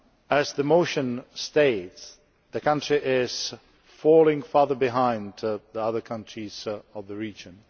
As the motion states, the country is falling further behind the other countries of the region'.